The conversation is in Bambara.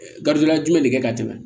Garibuya jumɛn de kɛ ka tɛmɛ